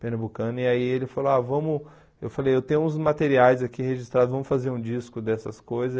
Pernambucano, e aí ele falou, ah, vamos, eu falei, eu tenho uns materiais aqui registrados, vamos fazer um disco dessas coisas.